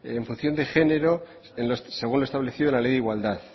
en función de género según lo establecido en la ley de igualdad